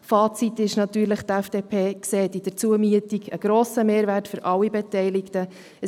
Das Fazit ist natürlich, dass die FDP in der Zumiete einen grossen Mehrwert für alle Beteiligten sieht.